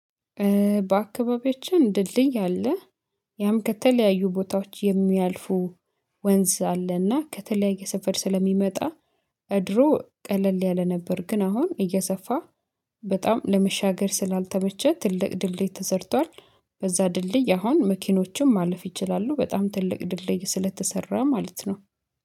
በአካባቢያችን ድልድይ አለ ያም ከተለያዩ ቦታዎች የሚያልፉ ወንዝ አለና ከተለያየ ሰፈር ስለሚመጣ ድሮ ቀለል ያለ ነበር ግን አሁን እየሰፋ በጣም ለመሻገር ስላልተመቸ ትልቅ ድልድይ ተሰርቷል በዛ ድልድይ አሁን መኪኖችም ማለፍ ይችላሉ በጣም ትልቅ ድልድይ ስለተሰራ ማለት ነው።